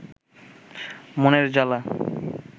মনের জালা